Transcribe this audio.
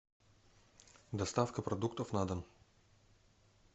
доставка продуктов на дом